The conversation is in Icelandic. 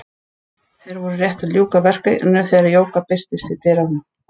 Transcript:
Þeir voru rétt að ljúka verkinu þegar Jóka birtist í dyrunum.